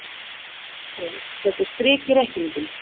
Herinn setur strik í reikninginn